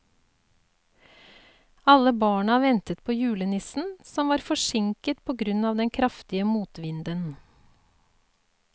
Alle barna ventet på julenissen, som var forsinket på grunn av den kraftige motvinden.